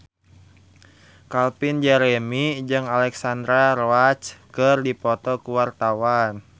Calvin Jeremy jeung Alexandra Roach keur dipoto ku wartawan